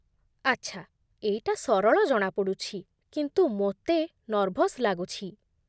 ଆଛା, ଏଇଟା ସରଳ ଜଣାପଡ଼ୁଛି, କିନ୍ତୁ ମୋତେ ନର୍ଭସ୍ ଲାଗୁଛି